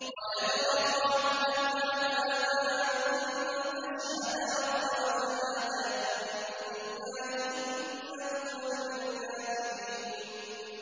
وَيَدْرَأُ عَنْهَا الْعَذَابَ أَن تَشْهَدَ أَرْبَعَ شَهَادَاتٍ بِاللَّهِ ۙ إِنَّهُ لَمِنَ الْكَاذِبِينَ